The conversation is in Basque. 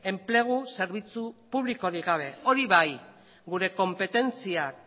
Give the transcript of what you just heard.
enplegu zerbitzu publikorik gabe hori bai gure konpetentziak